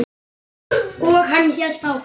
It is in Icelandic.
Og hann hélt áfram.